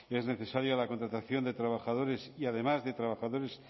es necesaria la contratación de trabajadores y además de trabajadores